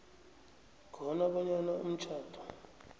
khona bonyana umtjhado